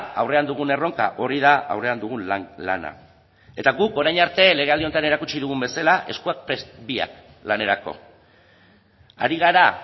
aurrean dugun erronka hori da aurrean dugun lana eta guk orain arte legealdi honetan erakutsi dugun bezala eskuak prest biak lanerako ari gara